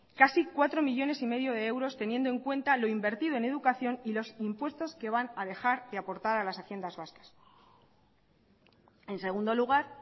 casi cuatro coma cinco millónes de euros teniendo en cuenta lo invertido en educación y los impuestos que van a dejar de aportar a las haciendas vascas en segundo lugar